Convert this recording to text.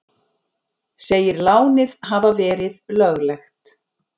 Segir lánið hafa verið löglegt